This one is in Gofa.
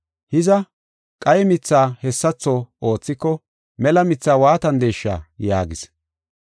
Hiza, qaye mithaa hessatho oothiko mela mithaa waatandesha?” yaagis.